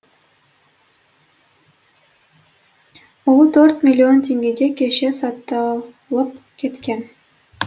он төрт миллион теңгеге көше сатылып кеткен